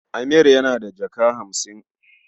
Amir yana da jaka hamsin.